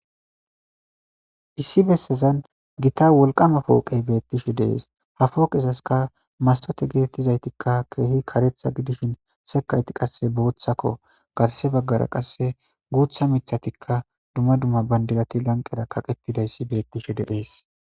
Issi bessazan gita wolqama pooqey beettishe dees ha fooqezaska mastote getettizaytikka keehi karetha gidishin sekayti qasse booththakko garse baggara qasse guutha mithatikka dumma dumma bandirati lanqera kaqettidayssi beettishe dephees.